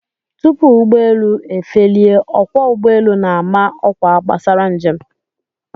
Tupu ụgbọelu efelie, ọkwọ ụgbọelu na-ama ọkwa gbasara njem